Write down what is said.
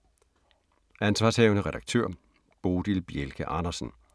Ansv. redaktør: Bodil Bjelke Andersen